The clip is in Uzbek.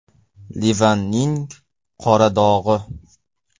Livanning qora dog‘i.